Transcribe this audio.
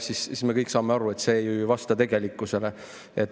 Me kõik saame aru, et see ei vasta tegelikkusele.